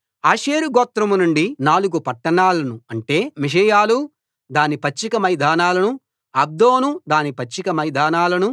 ఆషేరు గోత్రం నుండి నాలుగు పట్టణాలను అంటే మిషెయలు దాని పచ్చిక మైదానాలనూ అబ్దోను దాని పచ్చిక మైదానాలనూ